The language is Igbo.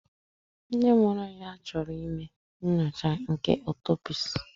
Ndị mụrụ ya chọrọ ime nyocha nke otopsi